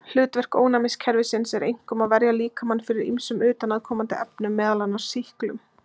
Hlutverk ónæmiskerfisins er einkum að verja líkamann fyrir ýmsum utanaðkomandi efnum, meðal annars sýklum.